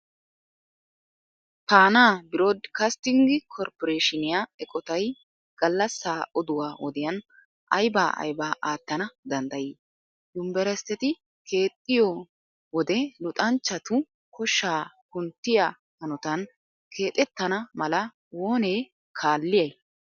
Faanaa birooddikastting korpporeeshiniya eqotay gallassaa oduwa wodiyan aybaa aybaa aattana danddayii? Yunverestteti keexettiyo wode luxanchchatu koshshaa kunttiya hanotan keexettana mala oonee kaalliyay?